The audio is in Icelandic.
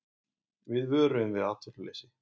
Við vöruðum við atvinnuleysi